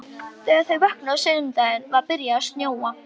Þegar þau vöknuðu á sunnudeginum var byrjað að snjóa.